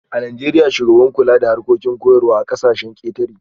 A Najeriya, shugaban kula da harkokin koyarwa a kasashen ketare